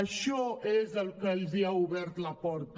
això és el que els ha obert la porta